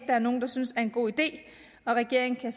er nogen der synes er en god idé og regeringen kan